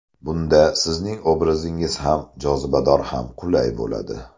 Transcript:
Bunda sizning obrazingiz ham jozibador ham qulay bo‘ladi.